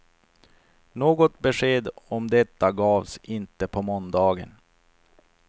Något besked om detta gavs inte på måndagen.